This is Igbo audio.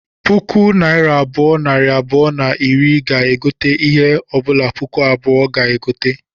Puku naira abụọ, nari abụọ na iri ga-egote ihe ọbụla puku abụọ ga-egote